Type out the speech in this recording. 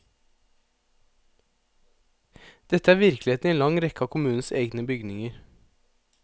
Dette er virkeligheten i en lang rekke av kommunens egne bygninger.